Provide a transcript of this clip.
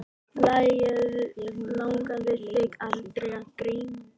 Langaði þig aldrei að grenja?